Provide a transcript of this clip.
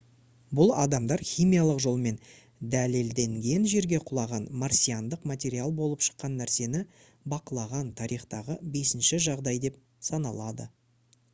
бұл адамдар химиялық жолмен дәлелденген жерге құлаған марсиандық материал болып шыққан нәрсені бақылаған тарихтағы бесінші жағдай деп саналады